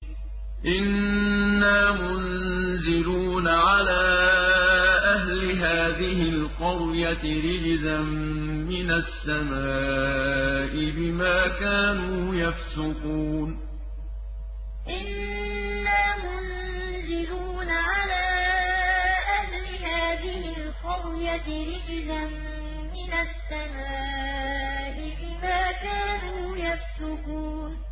إِنَّا مُنزِلُونَ عَلَىٰ أَهْلِ هَٰذِهِ الْقَرْيَةِ رِجْزًا مِّنَ السَّمَاءِ بِمَا كَانُوا يَفْسُقُونَ إِنَّا مُنزِلُونَ عَلَىٰ أَهْلِ هَٰذِهِ الْقَرْيَةِ رِجْزًا مِّنَ السَّمَاءِ بِمَا كَانُوا يَفْسُقُونَ